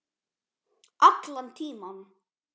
Allan tímann.